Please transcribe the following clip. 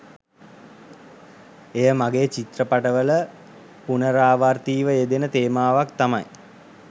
එය මගෙ චිත්‍රපට වල පුනරාවර්තීව යෙදෙන තේමාවක් තමයි